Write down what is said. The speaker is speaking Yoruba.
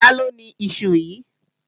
Taló ni iṣu yíì?